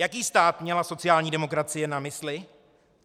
- Jaký stát měla sociální demokracie na mysli?